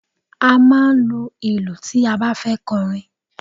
A máa ń lu ìlù tí a bá fẹ́ kọrin.